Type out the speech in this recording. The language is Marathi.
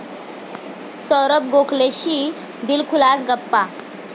साैरभ गोखलेशी दिलखुलास गप्पा